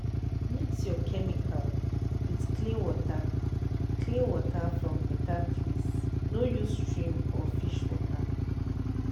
mix your chemical with clean water clean water from better place no use stream or fish water.